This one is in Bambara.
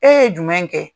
E ye jumɛn kɛ